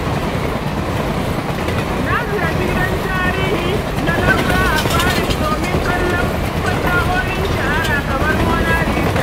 Na ziyarci gidan Tarihi na Louvre a Paris domin kallon fasahohin shahara kamar Mona Lisa.